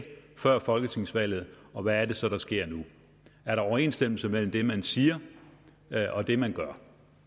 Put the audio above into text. før folketingsvalget og hvad det så er der sker nu er der overensstemmelse mellem det man siger og det man gør